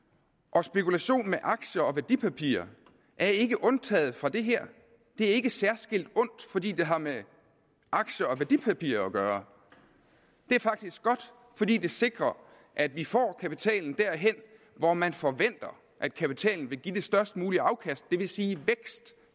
og spekulation med aktier og værdipapirer er ikke undtaget fra det her det er ikke særskilt ondt fordi det har med aktier og værdipapirer at gøre det er faktisk godt fordi det sikrer at vi får kapitalen derhen hvor man forventer at kapitalen vil give det størst mulige afkast det vil sige vækst